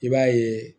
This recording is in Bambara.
I b'a yeee